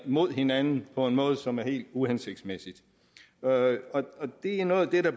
mod hinanden på en måde som er helt uhensigtsmæssig det er noget af det der